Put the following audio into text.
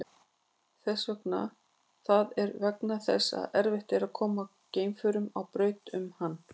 Það er vegna þess að erfitt er að koma geimförum á braut um hann.